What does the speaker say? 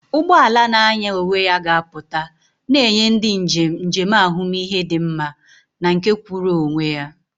Ụgbọ ala na-anya onwe ya ga-apụta, na-enye ndị njem njem ahụmihe dị mma na nke kwụụrụ onwe ya.